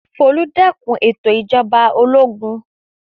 Folú dẹ́kun ètò ìjọba ológun.